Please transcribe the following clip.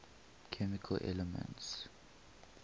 chemical elements